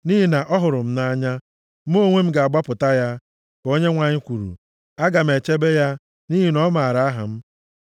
“Nʼihi na ọ hụrụ m nʼanya, Mụ onwe m ga-agbapụta ya, ka Onyenwe anyị kwuru; aga m echebe ya, nʼihi na ọ maara aha m.